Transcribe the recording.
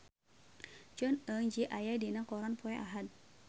Jong Eun Ji aya dina koran poe Ahad